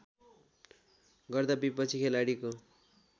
गर्दा विपक्षी खेलाडीको